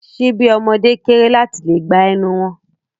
Ṣíbí ọmọde kéré láti lè gba ẹnu wọn.